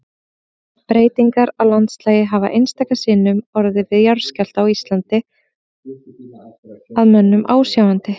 Breytingar á landslagi hafa einstöku sinnum orðið við jarðskjálfta á Íslandi að mönnum ásjáandi.